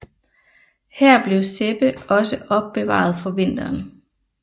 Her blev Sebbe også opbevaret for vinteren